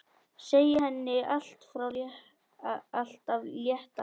Segja henni allt af létta.